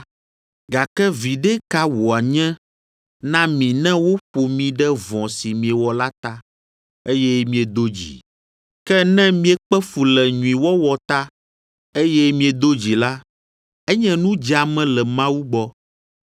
Gake viɖe ka wòanye na mi ne woƒo mi ɖe vɔ̃ si miewɔ la ta, eye miedo dzi? Ke ne miekpe fu le nyuiwɔwɔ ta, eye miedo dzi la, enye nu dzeame le Mawu gbɔ.